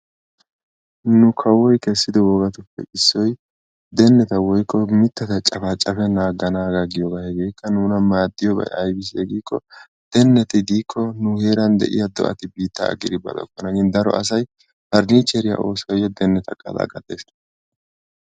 Nu kawoy kessido wogatuppe issoy deneta woykko mittata cafacapennan agganaagaa giyoogaa nuna maadiyoobay ayibisse giikko denneti diikko nu heeran diyaa do'ati biittaa aggidi baqates,. daro asay faniicheriyaa osuwaayoo giidi deniyaa cafacafes.